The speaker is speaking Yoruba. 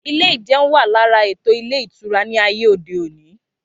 Ilé ìjeun wà lára ètò ilé ìtura ní ayé òde òní